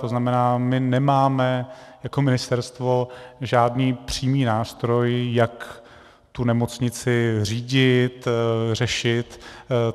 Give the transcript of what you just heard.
To znamená, my nemáme jako ministerstvo žádný přímý nástroj, jak tu nemocnici řídit, řešit.